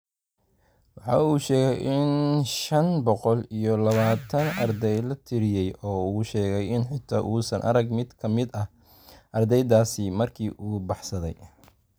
Waxa uu sheegay in shaan boqol iyo labataan arday la tiriyay oo uu sheegay in xitaa uusan arag mid ka mid ah ardaydaasi markii uu baxsaday.